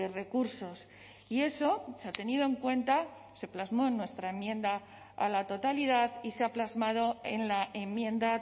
recursos y eso se ha tenido en cuenta se plasmó en nuestra enmienda a la totalidad y se ha plasmado en la enmienda